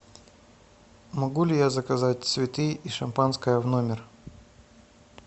могу ли я заказать цветы и шампанское в номер